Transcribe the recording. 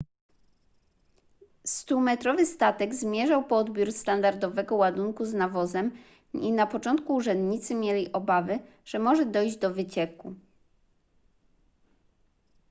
stumetrowy statek zmierzał po odbiór standardowego ładunku z nawozem i na początku urzędnicy mieli obawy że może dojść do wycieku